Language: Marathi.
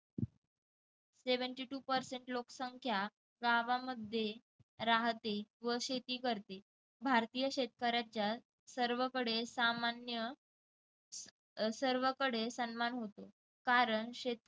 seventy two percent लोकसंख्या गावांमध्ये राहते व शेती करते भारतीय शेतकऱ्यांच्या सर्वकडे सामान्य अह सर्वकडे सन्मान होतो कारण शेत